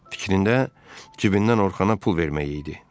Fikrində cibindən Orxana pul vermək idi.